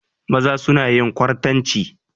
Maza suna yin kwartanci.